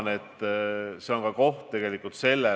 On selge, et olukord on ääretult tõsine.